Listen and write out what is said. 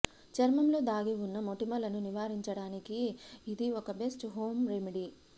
చర్మంలో దాగి ఉన్న మొటిమలను నివారించడానికి ఇది ఒక బెస్ట్ హోం రెమెడీ